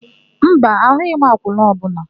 Mba, ahụghị m akwụna ọbụla.